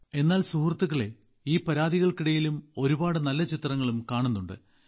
എന്നാൽ സുഹൃത്തുക്കളേ ഈ പരാതികൾക്കിടയിലും ഒരുപാട് നല്ല ചിത്രങ്ങളും കാണുന്നുണ്ട്